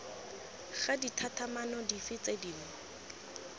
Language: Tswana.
ga ditlhatlhamano dife tse dingwe